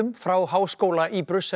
frá háskóla í